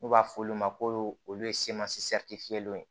N'u b'a f'olu ma ko olu ye ye